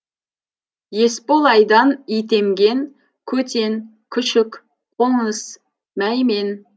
есболайдан итемген көтен күшік қоныс мәймен